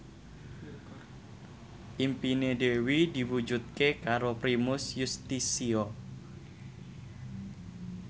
impine Dewi diwujudke karo Primus Yustisio